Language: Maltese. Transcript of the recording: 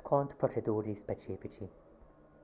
skont proċeduri speċifiċi